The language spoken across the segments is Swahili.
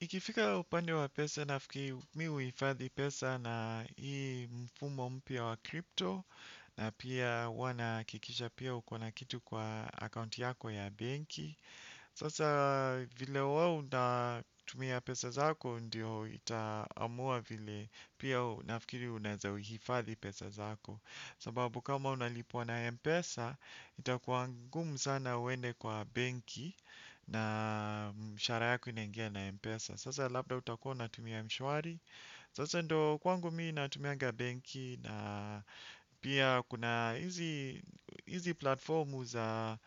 Ikifika upande wa pesa nafikiri mi huhifadhi pesa na hii mfumo mpya wa crypto na pia huwa nahakikisha pia ukona kitu kwa akaunti yako ya benki. Sasa vile huwa una tumia pesa zako ndio itaamua vile pia nafikiri unaeza hifadhi pesa zako. Sababu kama unalipwa na Mpesa, itakuwa ngumu sana uende kwa benki na mshahara yako inaingia na Mpesa. Sasa labda utakuwa unatumia mshwari. Sasa ndo kwangu mii natumianga benki na pia kuna hizi hizi platformu za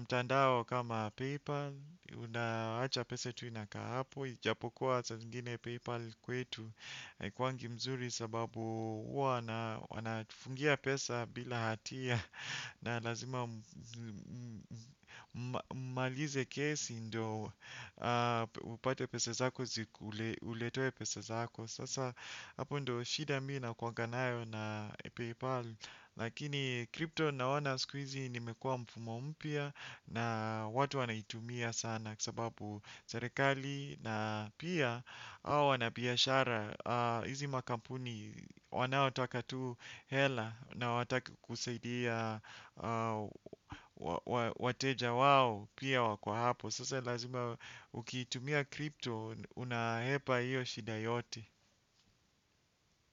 mtandao kama PayPal. Unaacha pesa tu inakaa hapo, ijapokuwa saa zingine PayPal kwetu haikuwangi mzuri sababu huwa na wanafungia pesa bila hatia na lazima malize kesi ndo upate pesa zako ziku uletewe pesa zako sasa hapo ndo shida mi nakuwanga nayo na paypal lakini crypto naona siku hizi nimekua mfumo mpya na watu wanaitumia sana sababu serikali na pia wana biashara. Hizi makampuni wanaotaka tu hela na hawataki kusaidia wateja wao pia wako hapo. Sasa lazima ukitumia crypto unahepa hiyo shida yote.